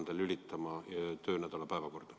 Kas Riigikogu juhatus on seda arutanud?